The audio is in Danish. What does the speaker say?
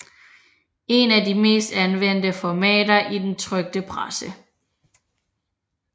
Et af de mest anvendte formater i den trykte presse